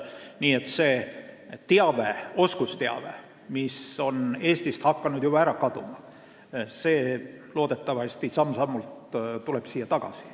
Nii et see oskusteave, mis on hakanud Eestist juba ära kaduma, tuleb siia loodetavasti samm-sammult tagasi.